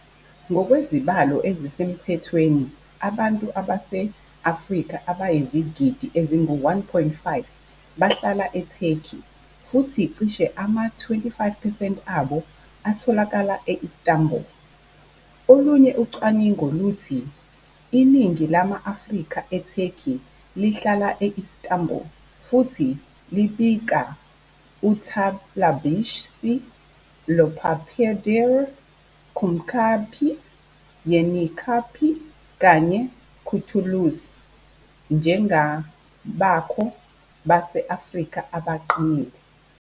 Ngokwezibalo ezisemthethweni abantu base-Afrika abayizigidi ezingu-1.5 bahlala eTurkey futhi cishe ama-25 percent abo atholakala e-Istanbul. Olunye ucwaningo luthi iningi lama-Afrika eTurkey lihlala e-Istanbul futhi libika uTarlabaşı, Dolapdere, Kumkapı, Yenikapı kanye noKurtuluş njengabakhona base-Afrika abaqinile.